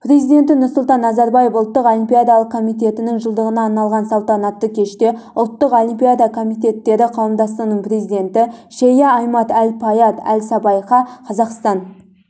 президенті нұрсұлтан назарбаев ұлттық олимпиадалық комитетінің жылдығына арналған салтанатты кеште ұлттық олимпиада комитеттері қауымдастығының президенті шейі аімад әл-фаіад әл-сабаіқа қазақстан